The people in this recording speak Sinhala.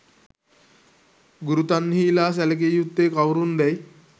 ගුරු තන්හි ලා සැලකිය යුත්තේ කවුරුන් දැයි